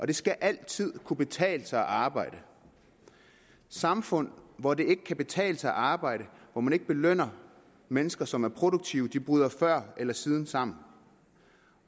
det skal altid kunne betale sig at arbejde samfund hvor det ikke kan betale sig at arbejde hvor man ikke belønner mennesker som er produktive bryder før eller siden sammen